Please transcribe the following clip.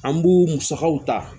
An b'u musakaw ta